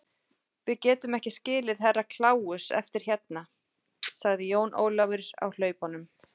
Við getum ekki skilið Herra Kláus eftir hérna, sagði Jón Ólafur á hlaupunum.